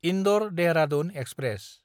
इन्दर–देहरादुन express